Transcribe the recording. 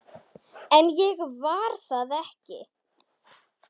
En ég var það ekki.